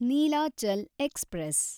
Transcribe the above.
Nilachal express